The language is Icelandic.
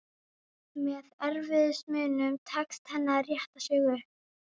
Með erfiðismunum tekst henni að rétta sig upp.